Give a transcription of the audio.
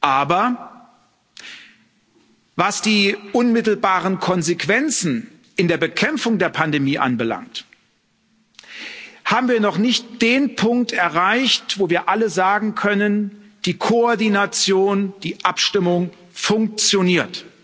Aber Was die unmittelbaren Konsequenzen in der Bekämpfung der Pandemie anbelangt, haben wir noch nicht den Punkt erreicht, wo wir alle sagen können Die Koordination, die Abstimmung funktioniert.